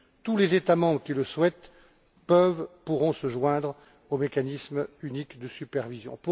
Tous les États membres qui le souhaitent pourront se joindre au mécanisme unique de supervision.